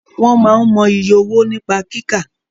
Wọ́n máa n mọ iye owó nípa kíkà